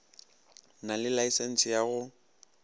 na le laesense ya go